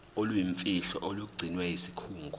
oluyimfihlo olugcinwe yisikhungo